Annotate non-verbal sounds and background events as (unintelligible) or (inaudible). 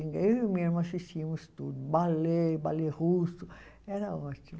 (unintelligible) Eu e minha irmã assistíamos tudo, ballet, ballet russo, era ótimo.